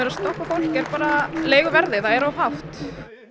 að stoppa fólk er leiguverðið það er of hátt